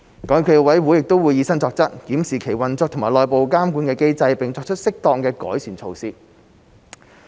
港協暨奧委會亦會以身作則，檢視其運作和內部監管機制，並作出適當的改善措施。